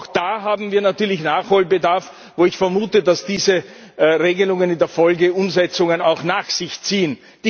Auch da haben wir natürlich Nachholbedarf, wobei ich vermute, dass diese Regelungen in der Folge Umsetzungen auch nach sich ziehen.